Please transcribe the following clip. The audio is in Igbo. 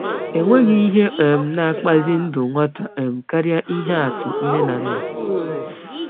Enweghị ihe um na-akpụzi ndụ nwata um karịa ihe atụ nne na nna.